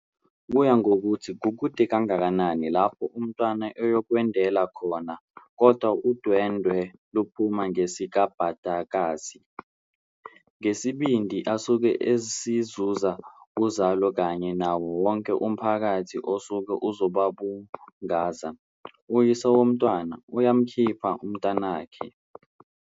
Kuya ngokuthi kukude kangakanani lapho umntwana eyokwendela khona kodwa udwendwe luphuma ngesikabhadakazi. Ngesibindi asuke esizuza kuzalo kanye nawo wonke umphakathi osuke uzobabungaza, uyise womntwana uyamkhipha umntanakhe.